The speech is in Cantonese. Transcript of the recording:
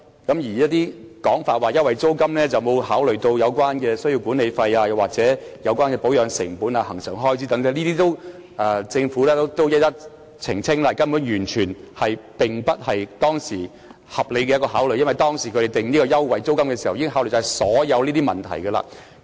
有說法指優惠租金沒有考慮到管理費、保養成本、恆常開支等，政府已經一一澄清，這說法根本完全不合理，因為他們訂定優惠租金時，已曾考慮這些問題。